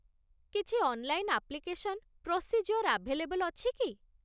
କିଛି online application procedure available ଅଛି କି?